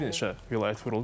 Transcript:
Bir neçə vilayət vuruldu.